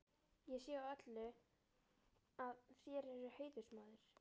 Ég sé á öllu, að þér eruð heiðursmaður.